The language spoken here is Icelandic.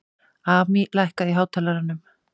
Amý, lækkaðu í hátalaranum.